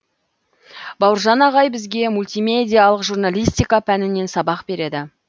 бауыржан ағай бізге мультимедиялық журналистика пәнінен сабақ береді